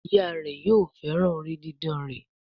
Ìyá rẹ yóò féràn orí didán rẹ.